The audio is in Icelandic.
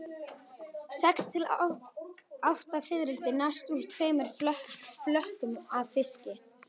Sex til átta fiðrildi nást úr tveimur flökum af fiski.